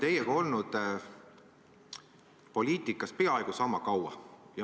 Me oleme olnud poliitikas peaaegu sama kaua.